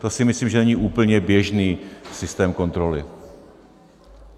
To si myslím, že není úplně běžný systém kontroly.